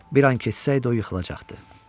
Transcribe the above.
Bir an keçsəydi, o yıxılacaqdı.